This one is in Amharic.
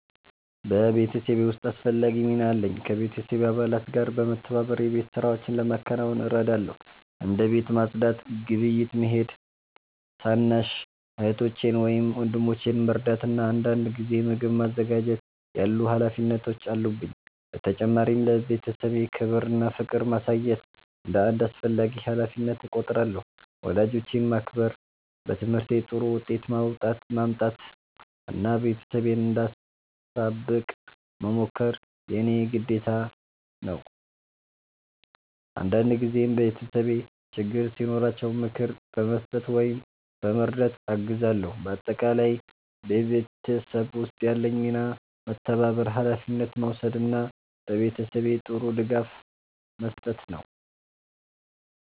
በቤተሰቤ ውስጥ አስፈላጊ ሚና አለኝ። ከቤተሰብ አባላት ጋር በመተባበር የቤት ሥራዎችን ለማከናወን እረዳለሁ። እንደ ቤት ማጽዳት፣ ግብይት መሄድ፣ ታናሽ እህቶቼን ወይም ወንድሞቼን መርዳት እና አንዳንድ ጊዜ ምግብ ማዘጋጀት ያሉ ሀላፊነቶች አሉብኝ። በተጨማሪም ለቤተሰቤ ክብር እና ፍቅር ማሳየት እንደ አንድ አስፈላጊ ሀላፊነት እቆጥራለሁ። ወላጆቼን ማክበር፣ በትምህርቴ ጥሩ ውጤት ማምጣት እና ቤተሰቤን እንዳሳብቅ መሞከር የእኔ ግዴታ ነው። አንዳንድ ጊዜም ቤተሰቤ ችግር ሲኖራቸው ምክር በመስጠት ወይም በመርዳት አግዛለሁ። በአጠቃላይ በቤተሰብ ውስጥ ያለኝ ሚና መተባበር፣ ሀላፊነት መውሰድ እና ለቤተሰቤ ጥሩ ድጋፍ መስጠት ነው።